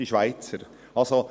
«Die Schweizer».